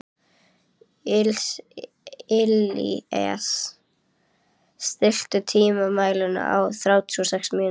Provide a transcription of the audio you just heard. Illíes, stilltu tímamælinn á þrjátíu og sex mínútur.